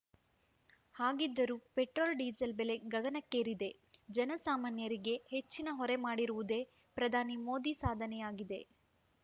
ಹಾಗಿದ್ದರೂ petrol diesel ಬೆಲೆ ಗಗನಕ್ಕೇರಿದೆ ಜನ ಸಾಮಾನ್ಯರಿಗೆ ಹೆಚ್ಚಿನ ಹೊರೆ ಮಾಡಿರುವುದೇ ಪ್ರಧಾನಿ ಮೋದಿ ಸಾಧನೆಯಾಗಿದೆ